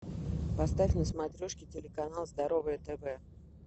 поставь на смотрешке телеканал здоровое тв